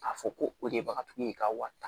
A fɔ ko o de ye bagatigi ye ka wari ta